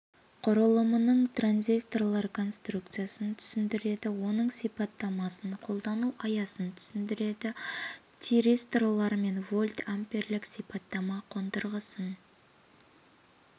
құрылымының транзисторлар конструкциясын түсіндіреді оның сипаттамасын қолдану аясын түсіндіреді тиристорлар мен вольтамперлік сипаттама қондырғысын